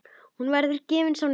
Hún verður gefins á netinu.